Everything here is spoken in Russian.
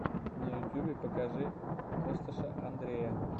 на ютубе покажи косташа андрея